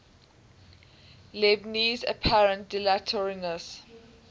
leibniz's apparent dilatoriness